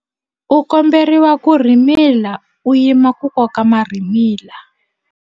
U komberiwa ku rhimila u yima ku koka marhimila.